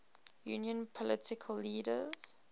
union political leaders